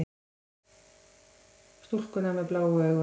Stúlkuna með bláu augun.